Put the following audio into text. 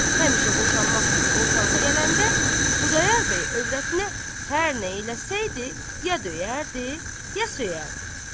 Həmişə boşanmaq sözü ortalığa gələndə Xudayar bəy övrətinə hər nə eləsəydi, ya döyərdi, ya söyərdi.